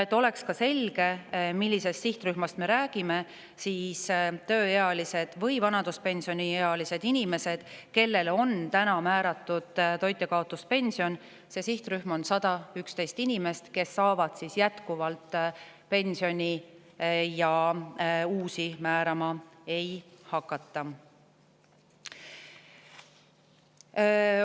Et oleks selge, millisest sihtrühmast me räägime, ütlen, et tööealised või vanaduspensioniealised inimesed, kellele on praegu määratud toitjakaotuspension – selles sihtrühmas on 111 inimest –, saavad jätkuvalt pensioni ja uusi neile määrama ei hakata.